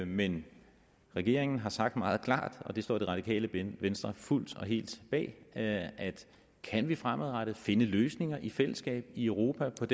men regeringen har sagt meget klart og det står det radikale venstre fuldt og helt bag at kan vi fremadrettet finde løsninger i fællesskab i europa der